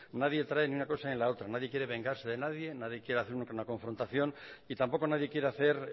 nadie trae ni una cosa ni la otra nadie quiere vengarse de nadie nadie quiere hacer una confrontación y tampoco nadie quiere hacer